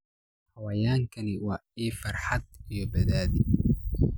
Xayawaankani waa il farxad iyo badhaadhe.